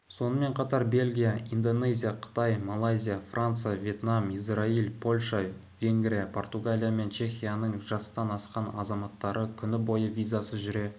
сонымен қатар бельгия индонезия қытай малайзия франция вьетнам израиль польша венгрия португалия мен чехияның жастан асқан азаматтары күн бойы визасыз жүре